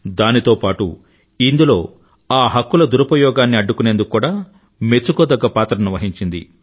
దానితో పాటూ ఇందులో ఆ హక్కుల దురుపయోగాన్ని అడ్డుకునేందుకు కూడా మెచ్చుకోదగ్గ పాత్రను వహించింది